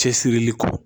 Cɛsiri kɔ